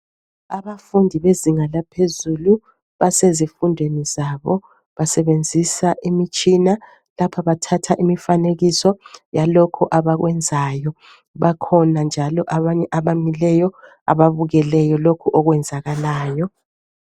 Abafundi bezinga laphezulu basezifundweni zabo basebenzisa imitshina. Lapha bathatha imifanekiso yalokhu abakwenzayo. Bakhona njalo abanye abamileyo abakeleyo lokhu okwenzakalayo.